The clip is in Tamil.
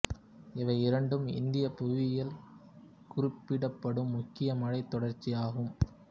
இவை இரண்டும் இந்தியப் புவியியலில் குறிப்பிடப்படும் முக்கிய மழைத் தொடர்ச்சியாகும்